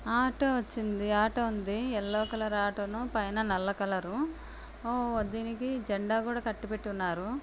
Auto వచ్చింది. Auto ఉంది. Yellow colour auto పైన నల్ల కలర్ ఓహ్ దీనికి జండా కూడా కట్టి పెట్టి ఉన్నారు.